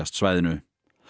svæðinu